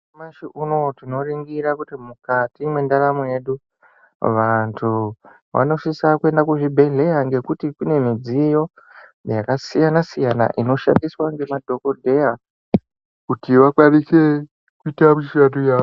Nyamashi unowu tinoringira kuti mukati mendaramo yedu, vanthu vanosise kuenda kuzvibhedhleya ngekuti kune midziyo yakasiyana-siyana inoshandiswa ngemadhokodheya kuti vakwanise kuita mishando yavo.